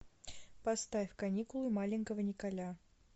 поставь каникулы маленького николя